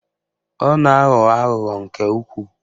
Ọ na-aghọ aghụghọ nke ukwuu